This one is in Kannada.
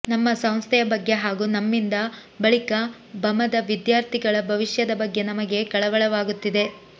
ನಮ್ಮ ಸಂಸ್ಥೆಯ ಬಗ್ಗೆ ಹಾಗೂ ನಮ್ಮಿಂದ ಬಳಿಕ ಬಮದ ವಿದ್ಯಾರ್ಥಿಗಳ ಭವಿಷ್ಯದ ಬಗ್ಗೆ ನಮಗೆ ಕಳವಳವಾಗುತ್ತಿದೆ